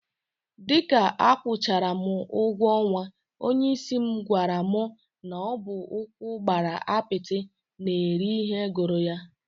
Dịka akwụchara m ụgwọ ọnwa, onyeisi m gwara m na ọ bụ ụkwụ gbara apịtị na-eri ihe gụrụ ya